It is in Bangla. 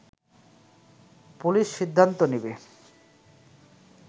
পুলিশ সিদ্ধান্ত নেবে